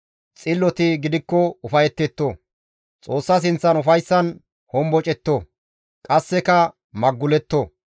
Xilloti gidikko ufayetetto; Xoossa sinththan ufayssan hombocetto; qasseka maguletto.